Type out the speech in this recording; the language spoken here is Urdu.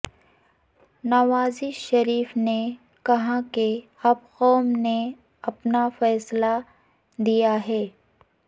نواز شریف نے کہا کہ اب قوم نے اپنا فیصلہ دیا ہے